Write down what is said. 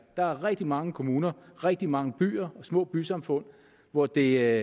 der er rigtig mange kommuner rigtig mange byer og små bysamfund hvor det